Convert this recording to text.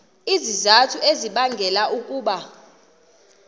izizathu ezibangela ukuba